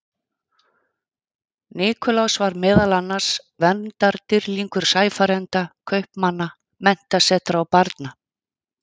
Það berst til hliðanna samfara gliðnuninni og eldra berg sekkur í sæ.